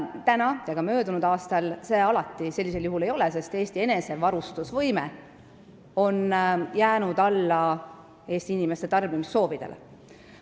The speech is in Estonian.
Sel ja ka möödunud aastal see alati nii ei ole olnud, sest Eesti enesevarustusvõime on jäänud alla Eesti inimeste tarbimissoovidele.